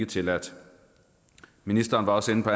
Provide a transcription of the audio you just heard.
tilladt ministeren var også inde på